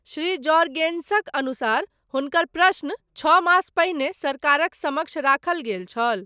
श्री जॉर्गेनसक अनुसार, हुनकर प्रश्न, छओ मास पहिने, सरकारक समक्ष राखल गेल छल।